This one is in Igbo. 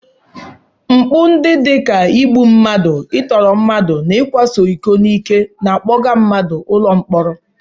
Mpụ ndị dị ka igbu mmadụ, I tụrụ mmadụ na ịkwasa iko n'ike na-akpọga mmadụ ụlọ mkpọrọ.